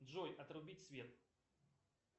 джой отрубить свет